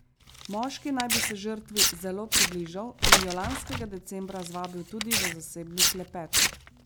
Moški naj bi se žrtvi zelo približal in jo lanskega decembra zvabil tudi v zasebni klepet.